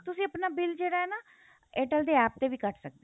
ਤੁਸੀਂ ਆਪਣਾ bill ਜਿਹੜਾ ਆ ਨਾ